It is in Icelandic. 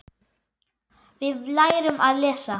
Við lærum að lesa.